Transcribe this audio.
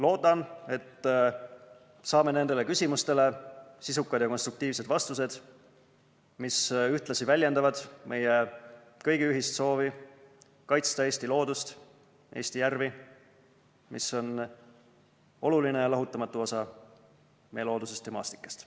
Loodan, et saame nendele küsimustele sisukad ja konstruktiivsed vastused, mis ühtlasi väljendavad meie kõigi ühist soovi kaitsta Eesti loodust ning Eesti järvi, mis on oluline ja lahutamatu osa meie loodusest ja maastikest.